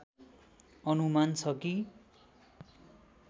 अनुमान छ कि